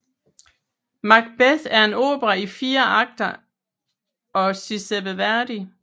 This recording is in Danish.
Macbeth er en opera i fire akter af Giuseppe Verdi